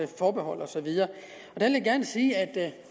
forbehold og så videre